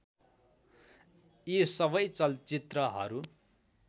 यी सबै चलचित्रहरू